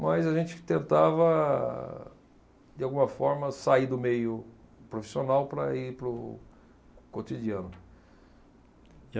mas a gente tentava, de alguma forma, sair do meio profissional para ir para o cotidiano. E